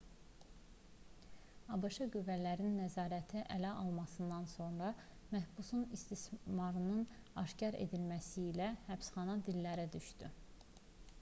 abş qüvvələrinin nəzarəti ələ almasından sonra məhbusun istismarının aşkar edilməsi ilə həbsxana dillərə düşdü